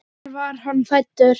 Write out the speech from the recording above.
Hvar var hann fæddur?